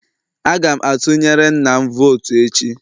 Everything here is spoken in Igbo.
Aga m atunyere nna'm vootu echi